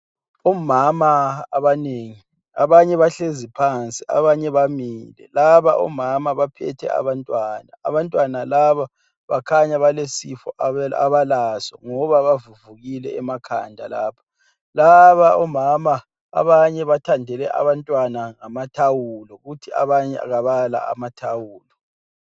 Omama abanengi abanye bahleziphansi abanye bamile laba omama baphethe abantwana ,abantwana laba bakhanya balesifo abalaso ngoba bavuvukile emakhanda lapha, laba omama abanye bathandele abantwana ngamathawulo kuthi abanye kabala amathawulo